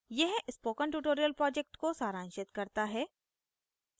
यह spoken tutorial project को सारांशित करता है